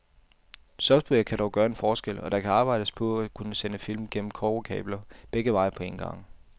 Software kan dog gøre en forskel, og der arbejdes på at kunne sende film gennem kobberkabler, begge veje på en gang.